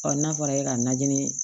n'a fɔra e ka najini